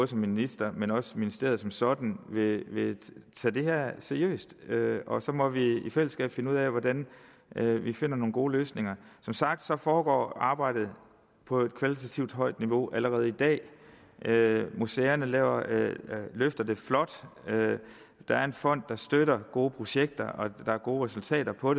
som minister men også ministeriet som sådan vil vil tage det her seriøst og så må vi i fællesskab finde ud af hvordan vi finder nogle gode løsninger som sagt foregår arbejdet på et kvalitativt højt niveau allerede i dag museerne løfter det flot der er en fond der støtter gode projekter og der er gode resultater på